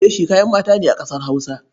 Leshi kayan mata ne a ƙasar Hausa.